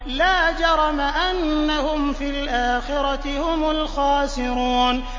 لَا جَرَمَ أَنَّهُمْ فِي الْآخِرَةِ هُمُ الْخَاسِرُونَ